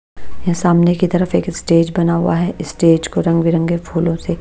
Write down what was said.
ये सामने की तरफ एक स्टेज बना हुआ है स्टेज को रंग बिरंगे फूलों से--